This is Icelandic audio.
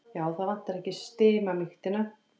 Já, það vantar ekki stimamýktina.